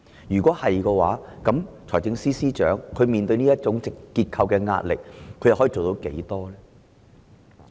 如是者，財政司司長面對這種結構性壓力可有多少作為呢？